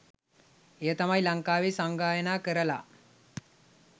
එය තමයි ලංකාවෙ සංගායනා කරල